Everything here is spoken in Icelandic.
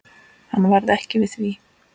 Hann varð ekki við því.